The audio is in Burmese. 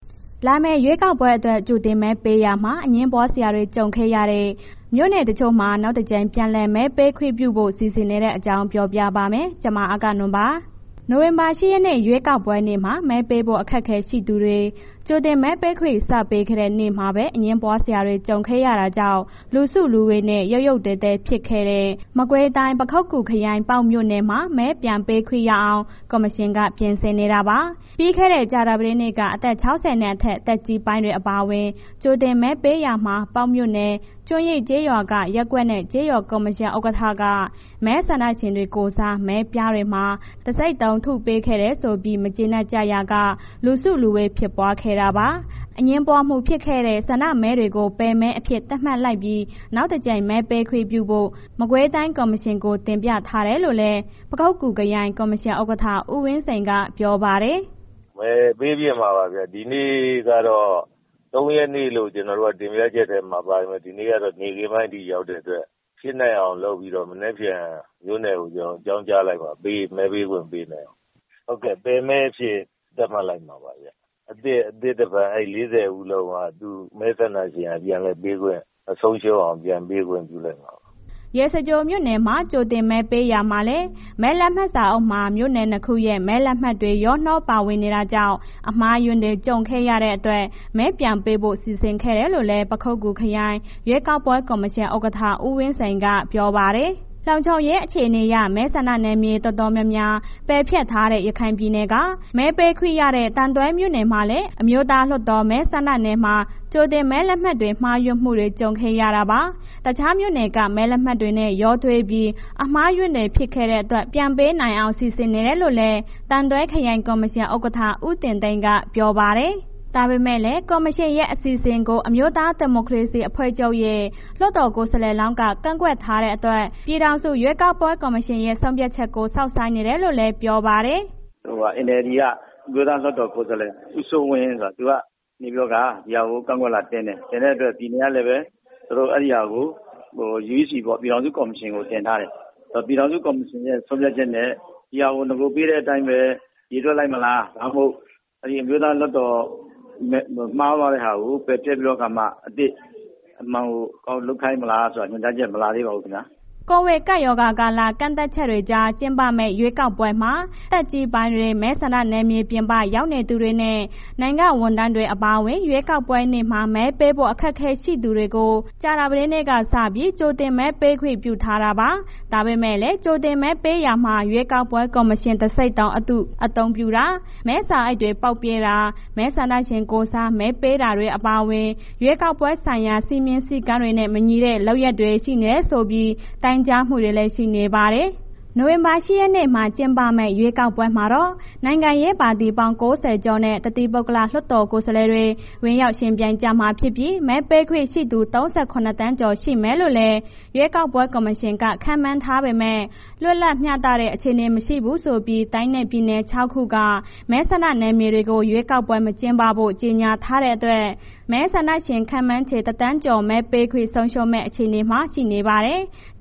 လာမယ့်ရွေးကောက်ပွဲအတွက် ကြိုတင်မဲပေးရာမှာ အငြင်းပွားစရာ ကြုံခဲ့ရတဲ့ မြို့နယ်တချို့မှာ နောက်တကြိမ် ပြန်လည်မဲပေးခွင့်ပြုဖို့ စီစဉ်နေတဲ့အကြောင်းကို ဗွီအိုအေမြန်မာပိုင်းသတင်းထောက် မအဂ္ဂနွန်က ပြောပြပါမယ်။ နိုဝင်ဘာလ ၈ ရက်နေ့ ရွေးကောက်ပွဲနေ့မှာ မဲပေးဖို့ အခက်အခဲရှိသူတွေ ကြိုတင်မဲပေးခွင့် စပေးခဲ့တဲ့ နေ့မှာပဲ အငြင်းပွားစရာတွေ ကြုံခဲ့ရတာကြောင့် လူစုလူဝေးနဲ့ ရုတ်ရုတ်သဲသဲ ဖြစ်ခဲ့တဲ့ မကွေးတိုင်း၊ ပခုက္ကူခရိုင်၊ ပေါက်မြို့နယ်မှာ မဲပြန်ပေးခွင့်ရအောင် ကော်မရှင်က ပြင်ဆင်နေတာပါ။ ပြီးခဲ့တဲ့ ကြာသပတေးနေ့က အသက် ၆၀ နဲ့အထက် သက်ကြီးပိုင်းတွေ အပါအဝင် ကြိုတင်မဲပေးရာမှာ ပေါက်မြို့နယ် ကျွန်းရင်းကျေးရွာက ရပ်ကွက်နဲ့ ကျေးရွာကော်မရှင်ဥက္ကဋ္ဌက မဲဆန္ဒရှင်တွေကိုယ်စား မဲပြားတွေမှာ တံဆိပ်တုံးထုပေးခဲ့တယ်ဆိုပြီး မကျေနပ်ကြရာက လူစုလူဝေးဖြစ်ပွားခဲ့တာပါ။ အငြင်းပွားမှု ဖြစ်ခဲ့တဲ့ ဆန္ဒမဲတွေကို ပယ်မဲအဖြစ် သတ်မှတ်လိုက်ပြီး နောက်တကြိမ် မဲပေးခွင့်ပြုဖို့ မကွေးတိုင်း ကော်မရှင်ကို တင်ပြထားတယ်လို့လည်း ပခုက္ကူခရိုင် ကော်မရှင်ဥက္ကဋ္ဌ ဦးဝင်းစိန်က ပြောပါတယ်။ “မဲပေးဖြစ်မှာပါဗျ၊ ဒီနေ့ကတော့ ၃ ရက်နေ့လို့ ကျနော်တို့က တင်ပြချက်ထဲမှာပါတယ်။ ဒီနေ့ကတော့ နေ့ခင်းပိုင်းထိရောက်တဲ့အတွက် ဖြစ်နိုင်အောင် လုပ်ပြီးတော့ မနက်ဖြန် မြို့နယ်ကို ကျနော်တို့ အကြောင်းကြားလိုက်မယ် ပြီးရင် မဲပေးခွင့်ပေးလိုက်မယ်။ ဟုတ်ကဲ့.. ပယ်မဲအဖြစ်သတ်မှတ်လိုက်မှာပါဗျ။ အသစ်တဖန် အဲ့ ၄၀ ဦးလုံးက မဲဆန္ဒရှင်က ပြန်လည်ပေးခွင့်မဆုံးရှုံးအောင် ပြန်ပေးခွင့်ပြုလိုက်မှာပါ။” ရေစကြိုမြို့နယ်မှာ ကြိုတင်မဲပေးရာမှာလည်း မဲလက်မှတ်စာအုပ်မှာ မြို့နယ်နှစ်ခုရဲ့ မဲလက်မှတ်တွေ ရောနှောပါဝင်နေတာကြောင့် အမှားအယွင်းတွေ ကြုံခဲ့ရတဲ့အတွက် မဲပြန်ပေးဖို့ စီစဉ်ခဲ့တယ်လို့လည်း ပခုက္ကူခရိုင် ရွေးကောက်ပွဲ ကော်မရှင်ဥက္ကဋ္ဌ ဦးဝင်းစိန်က ပြောပါတယ်။ လုံခြုံရေးအခြေအနေအရ မဲဆန္ဒနယ်မြေ တော်တော်များများ ပယ်ဖျက်ထားတဲ့ ရခိုင်ပြည်နယ်က မဲပေးခွင့်ရတဲ့ သံတွဲမြို့နယ်မှာလည်း အမျိုးသားလွှတ်တော် မဲဆန္ဒနယ်မှာ ကြိုတင်မဲလက်မှတ်တွေ မှားယွင်းမှုတွေ ကြုံခဲ့ရတာပါ။ တခြားမြို့နယ်က မဲလက်မှတ်တွေနဲ့ ရောထွေးပြီး အမှားအယွင်းတွေ ဖြစ်ခဲ့တဲ့အတွက် ပြန်မဲပေးနိုင်အောင် စီစဉ်နေတယ်လို့လည်း သံတွဲခရိုင် ကော်မရှင်ဥက္ကဋ္ဌ ဦးတင်သိန်းက ပြောပါတယ်။ ဒါပေမဲ့လည်း ကော်မရှင်ရဲ့ အစီအစဉ်ကို အမျိုးသားဒီမိုကရေစီအဖွဲ့ချုပ်ရဲ့ လွှတ်တော်ကိုယ်စားလှယ်လောင်းက ကန့်ကွက်ထားတဲ့အတွက် ပြည်ထောင်စု ရွေးကောက်ပွဲ ကော်မရှင်ရဲ့ ဆုံးဖြတ်ချက်ကို စောင့်ဆိုင်းနေတယ်လို့လည်း ပြောပါတယ်။ “NLD က အမျိုးသားလွှတ်တော်ကိုယ်စားလှယ် ဦးစိုးဝင်းဆိုတာ သူကနေပြီးတော့ ဒီဟာကို ကန့်ကွက်လွှာတင်တယ်။ တင်တဲ့အတွက် ပြည်နယ်ကလည်ပဲ အဲ့ဒီဟာကို uec ပေါ့ ပြည်ထောင်စုကော်မရှင်ကို တင်ထားတယ်။ ပြည်ထောင်စု ကော်မရှင်ရဲ့ ဆုံးဖြတ်ချက်နဲ့ ဒီဟာကို နဂိုပေးတဲ့အတိုင်းပဲ ရေတွက်လိုက်မလာ ဒါမှမဟုတ် အရင်အမျိုးသားလွှတ်တော်မှားသွားတဲ့ဟာကို ပယ်ဖျက်ပြီးတော့အခါမှ အသစ်လုပ်ခိုင်းမလားဆိုတာ ညွှန်ကြားချက်မလာသေးဘူးခင်ဗျာ။” ကိုဗစ်ကပ်ရောဂါကာလ ကန့်သတ်ချက်တွေကြား ကျင်းပမယ့် ရွေးကောက်ပွဲမှာ သက်ကြီးပိုင်းတွေ၊ မဲဆန္ဒနယ်မြေပြင်ပ ရောက်နေသူတွေနဲ့ နိုင်ငံဝန်ထမ်းတွေ အပါအဝင် ရွေးကောက်ပွဲနေ့မှာ မဲပေးဖို့ အခက်အခဲရှိသူတွေကို ကြာသပတေးနေ့ကစပြီး ကြိုတင်မဲပေးခွင့် ပြုထားတာပါ။ ဒါပေမဲ့လည်း ကြိုတင်မဲပေးရာမှာ ရွေးကောက်ပွဲ ကော်မရှင် တံဆိပ်တုံးအတု အသုံးပြုတာ၊ မဲစာအိတ်တွေ ပေါက်ပြဲတာ၊ မဲဆန္ဒရှင်ကိုယ်စား မဲပေးတာတွေ အပါအဝင် ရွေးကောက်ပွဲဆိုင်ရာ စည်းမျဉ်းစည်းကမ်းတွေနဲ့ မညီတဲ့ လုပ်ရပ်တွေ ရှိနေတယ်ဆိုပြီး တိုင်ကြားမှုတွေလည်း ရှိနေပါတယ်။ နိုဝင်ဘာလ ၈ ရက်နေ့မှာ ကျင်းပမယ့် ရွေးကောက်ပွဲမှာတော့ နိုင်ငံရေးပါတီပေါင်း ၉၀ ကျော်နဲ့ တသီးပုဂ္ဂလလွှတ်တော်ကိုယ်စားလှယ်တွေ ဝင်ရောက်ယှဉ်ပြိုင်ကြမှာဖြစ်ပြီး မဲပေးခွင့်ရှိသူ ၃၇ သန်းကျော် ရှိမယ်လို့လည်း ရွေးကောက်ပွဲ ကော်မရှင်က ခန့်မှန်းထားပေမဲ့ လွတ်လပ်မျှတတဲ့ အခြေအနေမရှိဘူးဆိုပြီး တိုင်းနဲ့ပြည်နယ် ၆ ခုက မဲဆန္ဒနယ်မြေတွေကို ရွေးကောက်ပွဲ မကျင်းပဖို့ ကြေညာထားတဲ့အတွက် မဲဆန္ဒရှင် ခန့်မှန်းခြေ ၁,၀၀၀,၀၀၀ ကျော် မဲပေးခွင့်ဆုံးရှုံးမယ့် အခြေအနေမှာ ရှိနေပါတယ်။